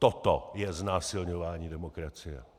Toto je znásilňování demokracie.